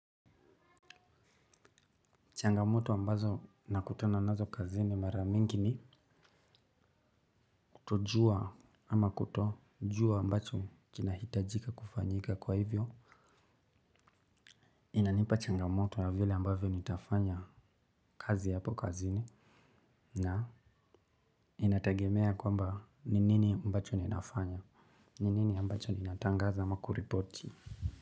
Changamoto ambazo nakutana nazo kazini mara mingi ni kutojua ama kutojua ambacho kinahitajika kufanyika kwa hivyo. Inanipa changamoto na vile ambavyo nitafanya kazi hapo kazini. Na inatagemea kwamba ni nini ambacho ninafanya. Ni nini ambacho ninatangaza ama kuripoti.